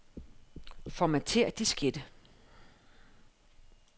Formatér diskette.